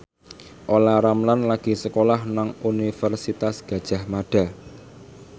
Olla Ramlan lagi sekolah nang Universitas Gadjah Mada